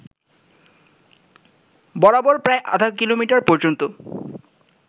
বরাবর প্রায় আধা কিলোমিটার পর্যন্ত